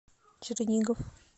чернигов